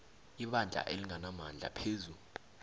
ibandla elinganamandla phezu